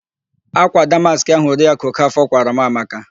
Ákwà damaskị ahụ Oriakụ Okafọ kwaara m amaka.